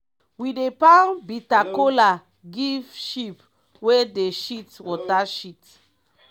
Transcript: we dey pound bita kola give sheep wey dey shit water shit.